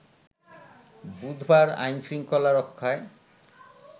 বুধবার আইনশৃঙ্খলা রক্ষায়